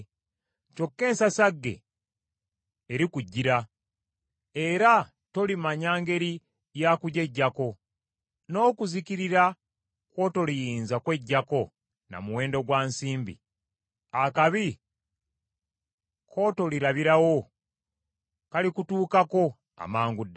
Kyokka ensasagge erikujjira era tolimanya ngeri yakugyeggyako; n’okuzikirira kw’otoliyinza kweggyako na muwendo gwa nsimbi; akabi k’otolirabirawo kalikutuukako amangu ddala.